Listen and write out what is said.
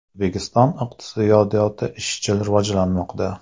O‘zbekiston iqtisodiyoti izchil rivojlanmoqda.